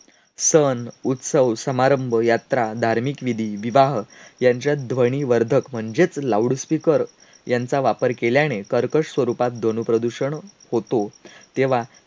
सन, उत्सव, समारंभ, यात्रा, धार्मिक विधी, विवाह यांच्या ध्वनिवर्धक म्हणजेच loud speaker यांचा वापर केल्याने कर्कश स्वरूपात ध्वनीप्रदूषण होतो. तेव्हा